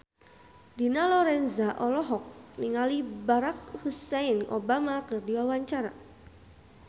Dina Lorenza olohok ningali Barack Hussein Obama keur diwawancara